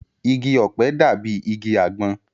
Igi ọ̀pẹ dàbí igi àgbọn